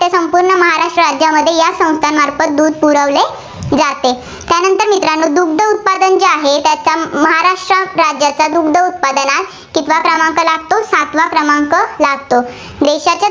महाराष्ट्र राज्यामध्ये या संस्थामार्फत दूध पुरवले जाते. नंतर मित्रांनो दुग्ध उत्पादन जे आहे, त्याच्या महाराष्ट्र राज्याचा दुग्ध उत्पादनात कितवा क्रमांक लागतो? सातवा क्रमांक लागतो, देशात.